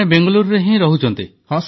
ମାନେ ବେଙ୍ଗାଲୁରୁରେ ହିଁ ରହୁଛନ୍ତି